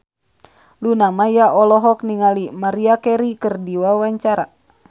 Luna Maya olohok ningali Maria Carey keur diwawancara